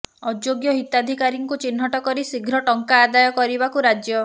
ଅଯୋଗ୍ୟ ହିତାଧୀକାରୀଙ୍କୁ ଚିହ୍ନଟ କରି ଶୀଘ୍ର ଟଙ୍କା ଆଦାୟ କରିବାକୁ ରାଜ୍ୟ